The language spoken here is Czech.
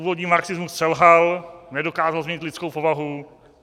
Původní marxismus selhal, nedokázal změnit lidskou povahu.